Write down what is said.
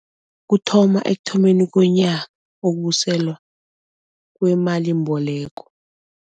Kuthoma ekuthomeni kwenyanga ukubuselwa kwemalimboleko.